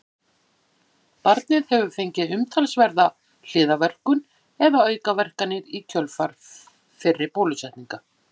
barnið hefur fengið umtalsverða hliðarverkun eða aukaverkanir í kjölfar fyrri bólusetninga